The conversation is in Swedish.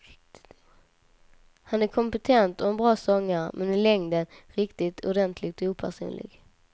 Han är kompetent och en bra sångare, men i längden riktigt ordentligt opersonlig.